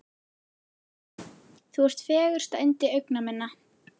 Þú ert fegursta yndi augna minna.